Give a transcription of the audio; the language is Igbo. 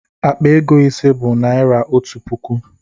Akpa ego ise bụ naira otu puku